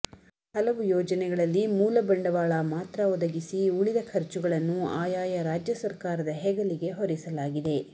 ಹಲುವು ಯೋಜನೆಗಳಲ್ಲಿ ಮೂಲ ಬಂಡವಾಳ ಮಾತ್ರ ಒದಗಿಸಿ ಉಳಿದ ಖರ್ಚುಗಳನ್ನು ಆಯಾಯ ರಾಜ್ಯ ಸರ್ಕಾರದ ಹೆಗಲಿಗೆ ಹೊರಿಸಲಾಗಿದೆ